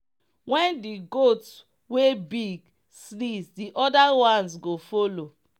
when d goat wey big sneez the other ones go follow.